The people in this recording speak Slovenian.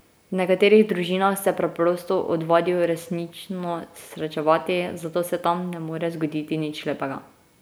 V nekaterih družinah se preprosto odvadijo resnično srečevati, zato se tam ne more zgoditi nič lepega.